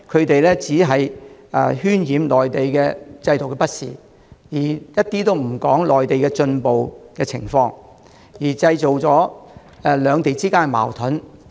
反對派只顧渲染內地制度的不善，卻不談內地的進步情況，製造了兩地之間的矛盾。